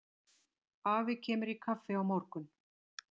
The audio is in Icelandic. Afi kemur í kaffi á morgun.